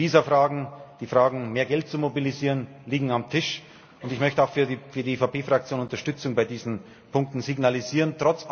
Die Visafragen, die Fragen, mehr Geld zu mobilisieren, liegen auf dem Tisch, und ich möchte auch für die EVP Fraktion Unterstützung bei diesen Punkten signalisieren.